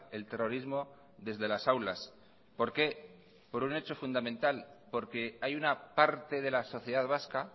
el terrorismo desde las aulas por qué por un hecho fundamental porque hay una parte de la sociedad vasca